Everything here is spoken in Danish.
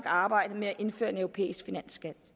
arbejdet med at indføre en europæisk finansskat